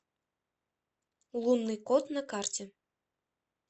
лунный кот на карте